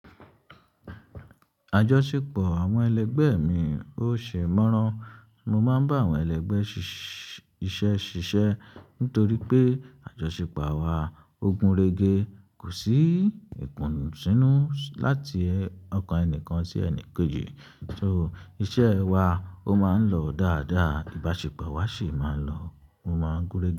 Àjọṣepọ̀ àwọn ẹlẹgbẹ mi ò ṣe é mọraán. Mo máa ń bá àwọn ẹlẹgbẹ́ iṣẹ́ ṣiṣẹ́ nítorí pé àjọṣepọ̀ awa ógún rere, kò sí ìpọnusínú láti ọkàn ẹnìkan sí ẹnì kéji. So iṣẹ́ wa ó máa ń lọ dáadáa, ìbáṣepọ̀ wa sì máa ń lọ, ó máa ń gúnrégé.